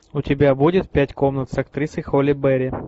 у тебя будет пять комнат с актрисой холли берри